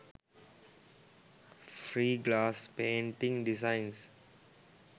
free glass painting designs